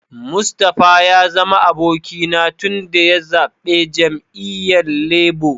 Mustapha ya zama abokina tun daya zabbe jami'yyan Labour.